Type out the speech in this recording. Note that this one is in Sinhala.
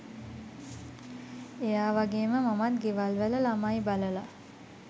එයා වගේම මමත් ගෙවල්වල ළමයි බලලා